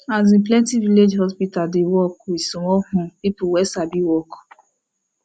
asin plenti village hospital dey work with small hmm people wey sabi work